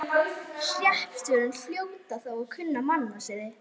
Hreppstjórar hljóta þó að kunna mannasiði.